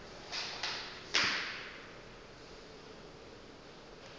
le ge e be e